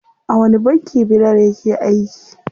A wani banki Bilal yake aiki?